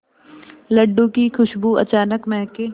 लड्डू की खुशबू अचानक महके